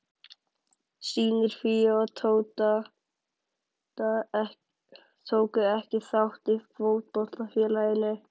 Synir Fíu og Tóta tóku ekki þátt í fótboltafélaginu.